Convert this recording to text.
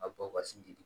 A bɔ ka sin di den ma